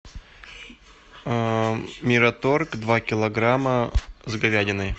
мираторг два килограмма с говядиной